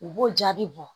U b'o jaabi bɔ